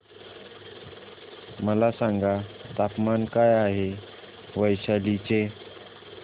मला सांगा तापमान काय आहे वैशाली चे